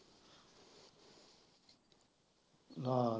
ਅਹ